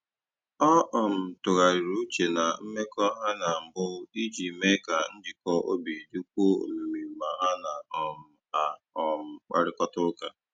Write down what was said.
Ọ um tụgharịrị uche na mmekọ ha na mbụ iji mee ka njikọ obi dịkwuo omimi ma ha na um a um kparịkọta ụka